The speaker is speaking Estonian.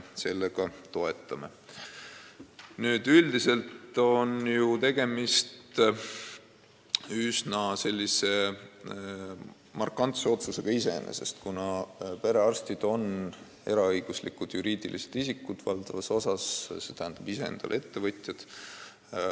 Iseenesest on tegemist üsna markantse otsusega, kuna perearstid on valdavas osas eraõiguslikud juriidilised isikud, st ise endale töö andjad.